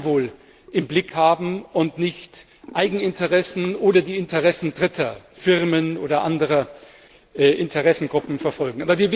das Gemeinwohl im Blick haben und nicht Eigeninteressen oder die Interessen Dritter von Firmen oder anderen Interessengruppen verfolgen.